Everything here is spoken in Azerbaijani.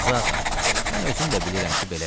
Qazıağa, mən özüm də bilirəm ki, belədir.